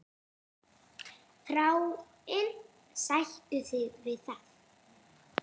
Þráinn, sættu þig við það!